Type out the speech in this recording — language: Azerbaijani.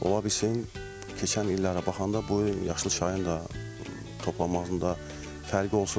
Olasın keçən illərə baxanda bu il yaşıl çayın da toplanmasında fərqi olsun.